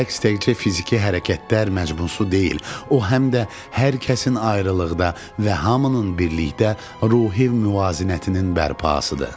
Rəqs təkcə fiziki hərəkətlər məcbusu deyil, o həm də hər kəsin ayrılıqda və hamının birlikdə ruhi müvazinətinin bərpasıdır.